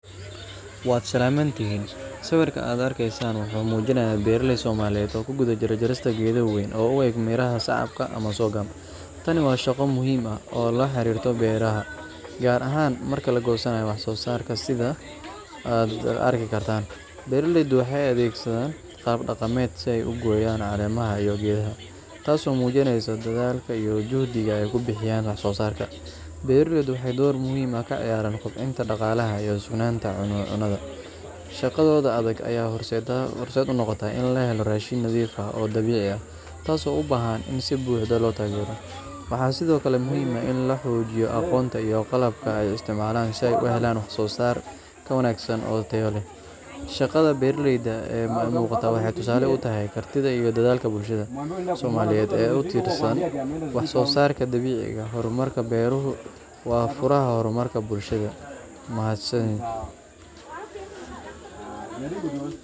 Wad salamantihin. siwirkan aad argasan wuxu mujirahaya bararay somaliyad oo ku guda jiroh jarista gadoo waan oo uag gadaha miraha sacabka ama sogam tani waa shaqo muhiim ah oo la xirtoh baraha garahan marki lagsanyoh wax soo sarga sida aad argi gartan barlaydwaxay adgsadan qab daqamad sii aay ugoyan taas oo mujiraysoh dadalka iyoh juxdiga aay ku bixinayin waax soosarka baralayda waaxay door muhiim ah ka ciyaran doqbita iyo daqalah hoos cunita iyo cunita shaqadoda adag aya horsadah unoqotah ina lahayoh rashin nadifah oo dawuca ah taas oo ubahan sii buxudah ah oo lotagaroh wax sida oo kle ah muhiim ah in alahojiyoh aqonta ay isticmalah sii ay uhalan wax sosar ka wagsan oo taya lah shaqad baralayda aa muqtoh waaxay tusali utahay gartida iyo dadalka bulshada umada soomaliyad tusali utahay wax soosarga dawiciga hormarka barha huu waa furaha hormarka bulshasa mahadsaid